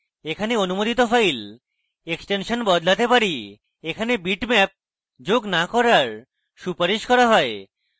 এখানে অনুমোদিত file extension বদলাতে পারি এখানে bitmap যোগ না করার সুপারিশ করা হয়